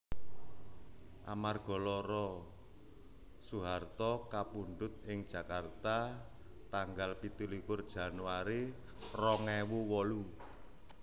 Amarga lara Soeharto kapundhut ing Jakarta tanggal pitulikur Januari rong ewu wolu